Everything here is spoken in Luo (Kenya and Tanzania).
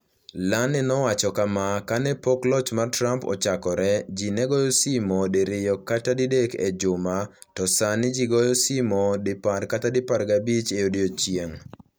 Lane nowacho kama: "Ka ne pok loch mar Trump ochakore, ji ne goyo simo diriyo kata didek e juma to sani ji goyo simo 10 kata 15 e odiechieng'. "